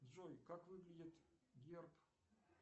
джой как выглядит герб